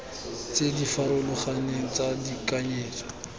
tse di farologaneng tsa tekanyetso